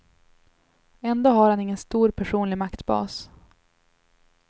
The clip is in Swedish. Ändå har han ingen stor personlig maktbas.